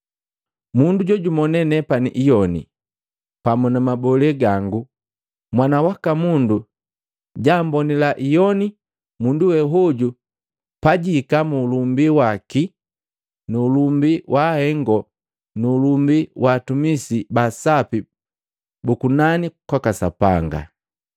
Mundu jojumonee nepani iyoni pamu na mabolee gangu, Mwana waka Mundu jaambonila iyoni mundu we hoju pajihika mu ulumbi waki nu ulumbi wa Ahengo nu ulumbi wa atumisi ba asapi bu kunani kwaka Sapanga.